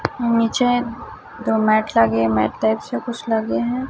नीचे दो मैट लगे मैट टाइप से कुछ लगे है।